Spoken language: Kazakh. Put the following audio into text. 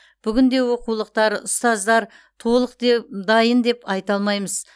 бүгінде оқулықтар ұстаздар толық де дайын деп айта алмаймыз